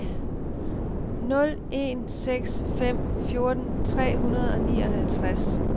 nul en seks fem fjorten tre hundrede og nioghalvtreds